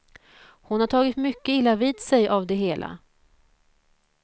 Hon har tagit mycket illa vid sig av det hela.